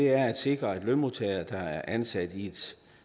er at sikre at lønmodtagere der er ansat i et